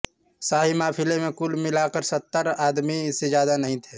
शाही काफिले में कुल मिलाकर सत्तर आदमी से ज़्यादा नहीं थे